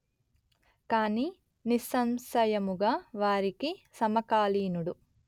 కానీ నిస్సంశయముగా వారికి సమకాలీనుడు